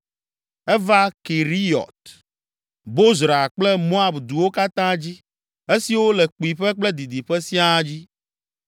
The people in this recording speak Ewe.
Eva Keriyɔt, Bozra kple Moab duwo katã dzi, esiwo le kpuiƒe kple didiƒe siaa dzi.